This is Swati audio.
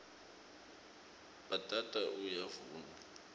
bhatata uyavunwa